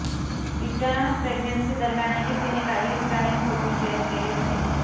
तिच्या प्रेग्नन्सीदरम्यानही तिने काही स्टनिंग फोटो शेअर केले होते